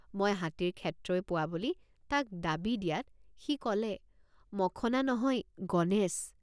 মই হাতীৰ ক্ষেত্ৰই পোৱা বুলি তাক ডাবি দিয়াত সি কলে মখনা নহয় গণেশ।